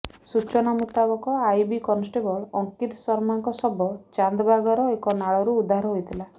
ସୂଚନାମୁତାବକ IB constable Ankit ଶର୍ମାଙ୍କ ଶବ ଚାନ୍ଦ ବାଗର ଏକ ନାଳରୁ ଉଦ୍ଧାର ହୋଇଥିଲା